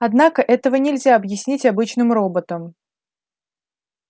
однако этого нельзя объяснить обычным роботам